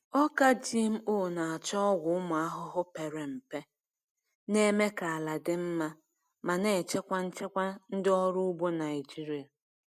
Ọka GMO na-achọ ọgwụ ụmụ ahụhụ pere mpe, na-eme ka ala dị mma ma na-echekwa nchekwa ndị ọrụ ugbo Naijiria.